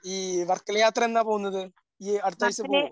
ഈ വർക്കല യാത്ര എന്നാ പോകുന്നത്. ഈ അടുത്ത ആഴ്ച്ച പോവോ?